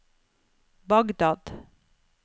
Bagdad